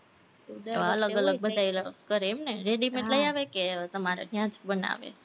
અલગ-અલગ બધા ય ઓલું કરે એમ ને? ready-made લઇ આવે કે તમારે ન્યા જ બનાવે?